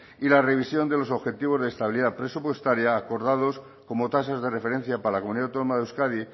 y la revisión de los objetivos de estabilidad presupuestaria acordados como tasas de referencia para la comunidad autónoma de euskadi